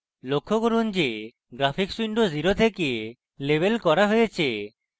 লক্ষ্য করুন যে graphics window 0 থেকে লেবেল করা হয়েছে